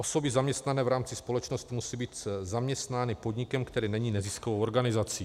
Osoby zaměstnané v rámci společnosti musí být zaměstnány podnikem, který není neziskovou organizací.